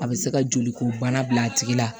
A bɛ se ka joli ko bana bila a tigi la